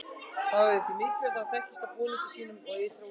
það var því mikilvægt að það þekktist á búningi sínum og ytra útliti